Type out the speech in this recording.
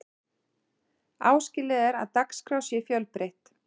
áskilið er að dagskrá sé fjölbreytt